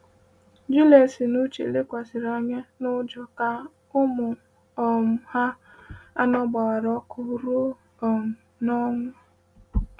Juliet na Uche lekwasịrị anya n’ụjọ ka ụmụ um ha anọ gbawara ọkụ ruo um n’ọnwụ. um